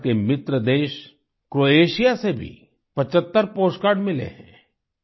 मुझे भारत के मित्र देश क्रोएशिया से भी 75 पोस्टकार्ड मिले हैं